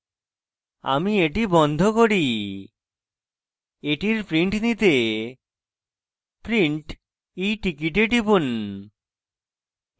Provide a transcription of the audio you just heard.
আমি এটি বন্ধ করি এটির printout নিতে print eticket a টিপুন